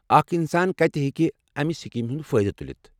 اکھ انسان کتہ ہٮ۪کہ امہ سکیمہِ ہُنٛد فٲئدٕ تُلِتھ؟